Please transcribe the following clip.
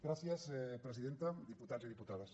gràcies presidenta diputats i diputades